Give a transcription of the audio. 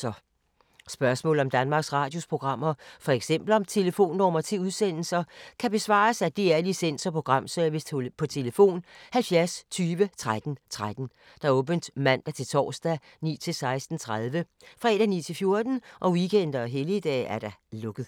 Spørgsmål om Danmarks Radios programmer, f.eks. om telefonnumre til udsendelser, kan besvares af DR Licens- og Programservice: tlf. 70 20 13 13, åbent mandag-torsdag 9.00-16.30, fredag 9.00-14.00, weekender og helligdage: lukket.